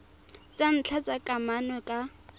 tsa ntlha tsa kamano ka